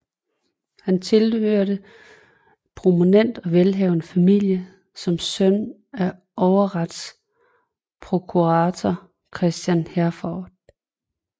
Han tilhørte en prominent og velhavende familie som søn af overretsprokurator Christian Herforth